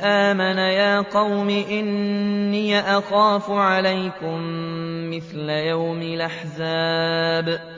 آمَنَ يَا قَوْمِ إِنِّي أَخَافُ عَلَيْكُم مِّثْلَ يَوْمِ الْأَحْزَابِ